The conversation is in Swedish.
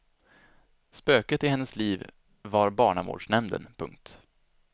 Spöket i hennes liv var barnavårdsnämnden. punkt